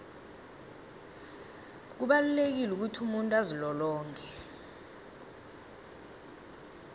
kubalulekile ukuthi umuntu azilolonge